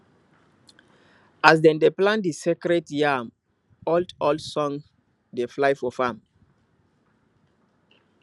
as dem dey plant di sacred yam oldold songs dey fly for farm